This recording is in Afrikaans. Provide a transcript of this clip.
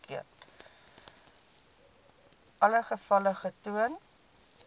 alle gevalle getoon